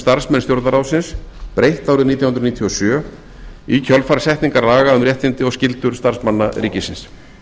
starfsmenn stjórnarráðsins breytt árið nítján hundruð níutíu og sjö í kjölfar setninga laga um réttindi og skyldur starfsmanna ríkisins